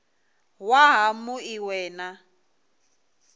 waha mu ṅ we na